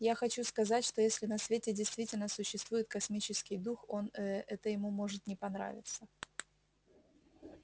я хочу сказать что если на свете действительно существует космический дух он э ему это может не понравиться